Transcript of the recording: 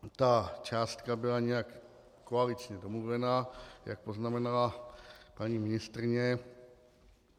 Ta částka byla nějak koaličně domluvena, jak poznamenala paní ministryně.